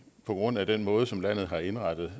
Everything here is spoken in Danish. på grund af den måde som landet har indrettet